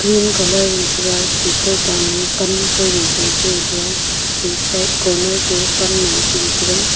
pink colour ma tega kawtan mi pan kawja sae chingan tega che side corner ka panloe chibi taiga.